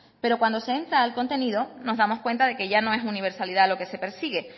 pero cuando se entra al contenido nos damos cuenta de que ya no es universalidad lo que se persigue